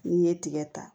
N'i ye tigɛ ta